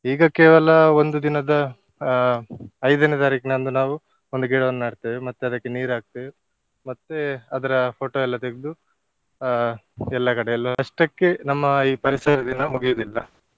ಈಗ ಕೇವಲ ಒಂದು ದಿನದ ಆ ಐದನೇ ತಾರಿಕನಂದು ನಾವು ಒಂದು ಗಿಡವನ್ನು ನಡ್ತೇವೆ ಮತ್ತೆ ಅದಕ್ಕೆ ನೀರು ಹಾಕ್ತೇವೆ ಮತ್ತೆ ಅದ್ರ photo ಎಲ್ಲ ತೆಗ್ದು ಅಹ್ ಎಲ್ಲಾ ಕಡೆ ಅಲ್ವಾ. ಅಷ್ಟಕ್ಕೆ ನಮ್ಮ ಈ ಪರಿಸರ ದಿನ ಮುಗಿಯುವುದಿಲ್ಲ.